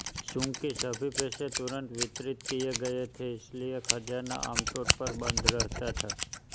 चूंकि सभी पैसे तुरंत वितरित किए गए थे इसलिए खजाना आमतौर पर बंद रहता था